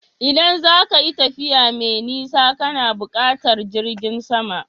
Idan za ka yi tafiya mai nisa kana buƙatar jirgin sama